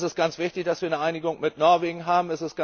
Es ist ganz wichtig, dass wir eine Einigung mit Norwegen haben.